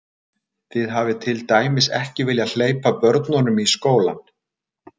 Þið hafið til dæmis ekki viljað hleypa börnunum í skólann?